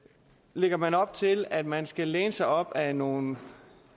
lægger man op til at man skal læne sig op ad nogle